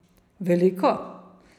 Veliko?